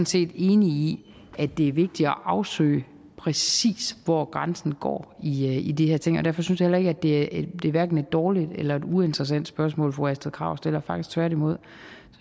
set enig i at det er vigtigt at afsøge præcis hvor grænsen går i de her ting og derfor synes jeg heller ikke at det er et dårligt eller et uinteressant spørgsmål fru astrid krag stiller faktisk tværtimod